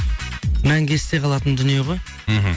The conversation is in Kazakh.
мәңгі есте қалатын дүние ғой мхм